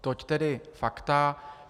Tolik tedy fakta.